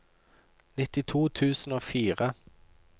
nittito tusen og fire